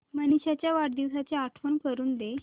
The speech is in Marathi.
मनीष च्या वाढदिवसाची आठवण करून दे